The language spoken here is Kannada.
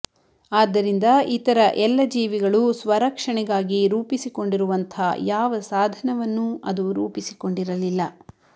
ಆದ್ದರಿಂದ ಇತರ ಎಲ್ಲ ಜೀವಿಗಳೂ ಸ್ವರಕ್ಷಣೆಗಾಗಿ ರೂಪಸಿಕೊಂಡಿರುವಂಥ ಯಾವ ಸಾಧನವನ್ನೂ ಅದು ರೂಪಿಸಿಕೊಂಡಿರಲಿಲ್ಲ